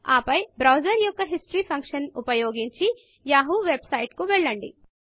ఆపై బ్రౌజర్ యొక్క Historyహిస్టరీ ఫంక్షన్ ఉపయోగించి యాహూ వెబ్ సైట్ కు వెళ్ళండి